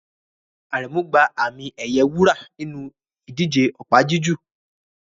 Aremu gba àmì-ẹ̀yẹ wúrà nínú ìdíje opa-jiju